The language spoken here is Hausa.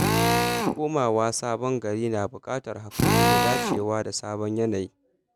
Komawa sabon gari na buƙatar haƙuri da dacewa da sabon yanayi.